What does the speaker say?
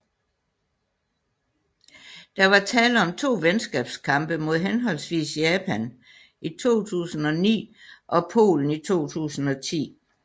Der var tale om to venskabskampe mod henholdsvis Japan i 2009 og Polen i 2010